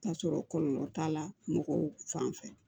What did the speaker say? K'a sɔrɔ kɔlɔlɔ t'a la mɔgɔw fan fɛ